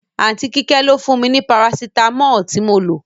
Aunty Kíké ló fún mi ní Parasitamọ́ọ̀ tí mo lo.